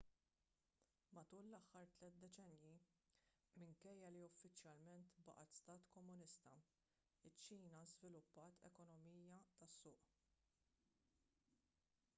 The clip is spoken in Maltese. matul l-aħħar tliet deċennji minkejja li uffiċjalment baqgħet stat komunista iċ-ċina żviluppat ekonomija tas-suq